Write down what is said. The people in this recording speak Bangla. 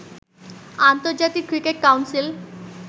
আন্তর্জাতিক ক্রিকেট কাউন্সিল